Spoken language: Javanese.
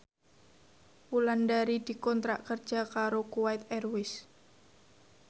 Wulandari dikontrak kerja karo Kuwait Airways